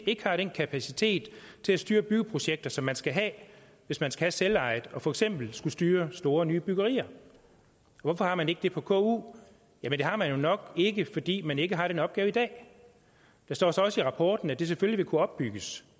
ikke har den kapacitet til at styre byggeprojekter som man skal have hvis man skal have selveje og for eksempel skal styre store nybyggerier hvorfor har man ikke det på ku jamen det har man jo nok ikke fordi man ikke har den opgave i dag der står så også i rapporten at det selvfølgelig vil kunne opbygges